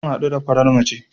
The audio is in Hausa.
Gobe zan haɗu da farar matar